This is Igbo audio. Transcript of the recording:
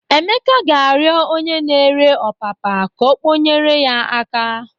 Emeka ga-arịọ onye na-ere ọpapa ka ọ kpọnyere ya aka.